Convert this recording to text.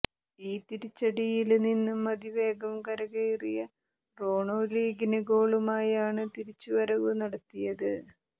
ഈ തിരിച്ചടിയില് നിന്നും അതിവേഗം കരകയറിയ റോണോ ലീഗില് ഗോളുമായാണ് തിരിച്ചുവരവ് നടത്തിയത്